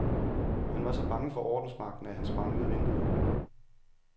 Han var så bange for ordensmagten, at han sprang ud af vinduet.